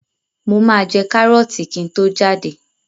Mo máa jẹ kárọ́ọ̀tì kí n tó jáde.